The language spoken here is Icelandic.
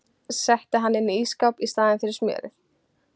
Setti hann inn í ísskáp í staðinn fyrir smjörið.